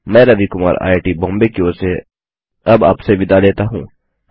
मैं रवि कुमार आईआईटीबॉम्बे की ओर से विदा लेता हूँ